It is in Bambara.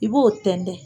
I b'o tɛntɛn